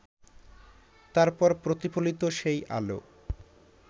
তারপর প্রতিফলিত সেই আলো